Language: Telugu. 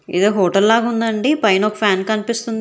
ఏదో హోటల్లాగుందంది పైన ఒక ఫ్యాన్ కనిపిస్తుంది.